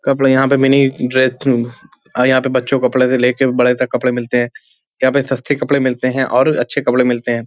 कपड़ें यहाँ पे मिनी ड्रेस और यहाँ बच्चो कपड़े से लेकर बड़े तक कपड़े मिलते हैं। यहाँ पे सस्ते कपड़े मिलते हैं और अच्छे कपड़े मिलते हैं।